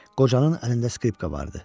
Qocanın əlində skripka vardı.